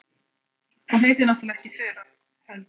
Hún heitir náttúrlega ekki Þura, heldur